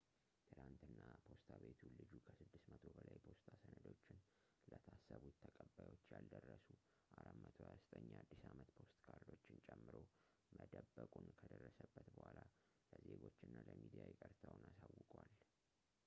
ትላንትና ፖስታ ቤቱ ልጁ ከ600 በላይ የፖስታ ሰነዶችን ለታሰቡት ተቀባዮች ያልደረሱ 429 የአዲስ አመት ፖስት ካርዶችን ጨምሮ መደበቁን ከደረሰበት ቡኃላ ለዜጎቹ እና ለሚዲያ ይቅርታውን አሳውቋል